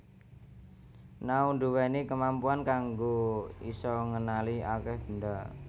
Nao ndhuwèni kemampuan kanggo isa ngenali akèh benda